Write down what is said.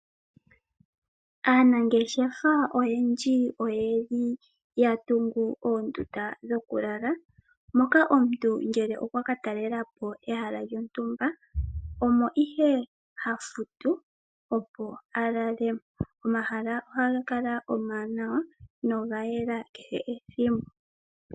Aanangeshefa oyendji oyeli ya tungu oondunda dhokulala moka omuntu ngele okwa katelelapo ehala lyontumba omo ihe ha futu opo a lale. Omahala ohaga kala omawanawa nogayela kehe ethimbo.